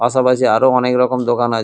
পাশাপাশি আরো অনেক রকম দোকান আছে।